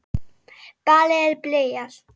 Ballið er byrjað.